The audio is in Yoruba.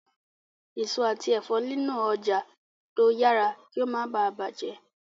èso àti èfó nilo ọjà tí o yàrá kí o má bá bàjé.